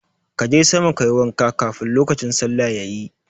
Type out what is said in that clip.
Ka je sama ka yi wanka kafin lokacin sallah yayi.